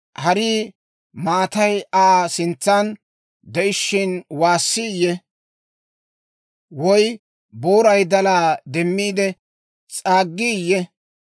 Harii maatay Aa sintsan de'ishiina waasiiyye? Woy booray dalaa demmiide s'aaggiiyye?